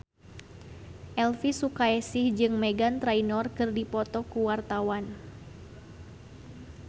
Elvy Sukaesih jeung Meghan Trainor keur dipoto ku wartawan